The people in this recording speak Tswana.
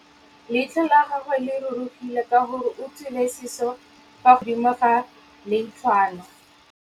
Leitlhô la gagwe le rurugile ka gore o tswile sisô fa godimo ga leitlhwana.